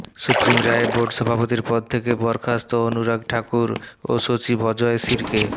supreme রায়ে board সভাপতির পদ থেকে বরখাস্ত অনুরাগ ঠাকুর ও সচিব অজয় শিরকে